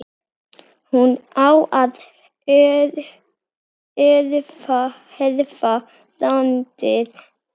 hún á að erfa landið.